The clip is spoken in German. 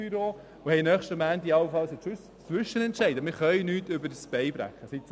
Dann haben allenfalls nächsten Montag einen Zwischenentscheid, aber wir können nichts übers Knie brechen.